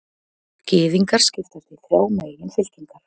Gyðingar skipast í þrjár meginfylkingar.